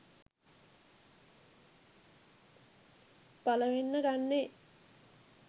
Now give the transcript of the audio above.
පළවෙන්න ගන්නේ.